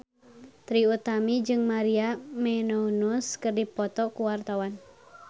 Trie Utami jeung Maria Menounos keur dipoto ku wartawan